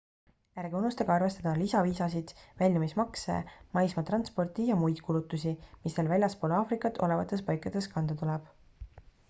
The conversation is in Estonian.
ärge unustage arvestada lisaviisasid väljumismakse maismaatransporti ja muid kulutusi mis teil väljaspool aafrikat olevates paikades kanda tuleb